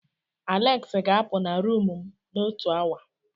Aleksi ga-apu na rumụ m n'otu awa.